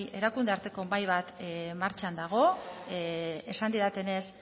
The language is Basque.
erakunde arteko mahai bat martxan dago esan didatenez